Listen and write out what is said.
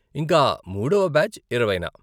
ఇంకా, మూడవ బ్యాచ్ ఇరవైన.